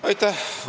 Aitäh!